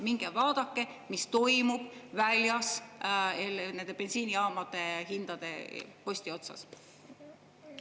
Minge vaadake, mis toimub väljas nende bensiinijaamade hindade posti otsas.